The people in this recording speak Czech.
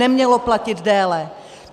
Nemělo platit déle.